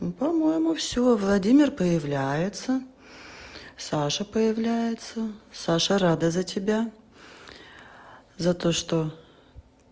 ну по-моему всё владимир появляется саша появляется саша рада за тебя за то что